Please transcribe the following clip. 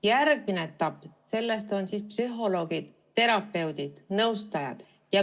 Järgmine etapp on psühholoogid, terapeudid ja nõustajad.